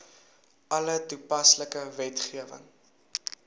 alle toepaslike wetgewing